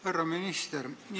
Härra minister!